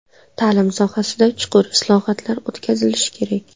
Ta’lim sohasida chuqur islohotlar o‘tkazilishi kerak.